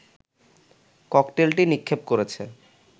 ককটেলটি নিক্ষেপ করেছে